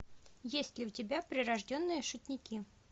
есть ли у тебя прирожденные шутники